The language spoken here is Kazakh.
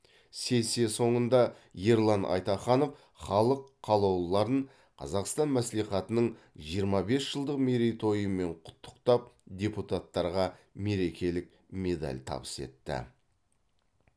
сессия соңында ерлан айтаханов халық қалаулыларын қазақстан мәслихатының жиырма бес жылдық мерейтойымен құттықтап депутаттарға мерекелік медаль табыс етті